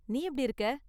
நீ எப்படி இருக்க?